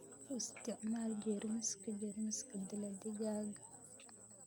U isticmaal jeermiska jeermiska dila digaagga.